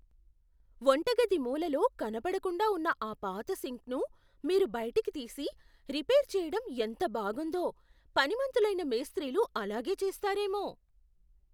వంటగది మూలలో కనపడకుండా ఉన్న ఆ పాత సింక్ను మీరు బయటికి తీసి, రిపేర్ చేయటం ఎంత బాగుందో. పనిమంతులైన మేస్త్రీలు అలాగే చేస్తారేమో.